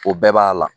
O bɛɛ b'a la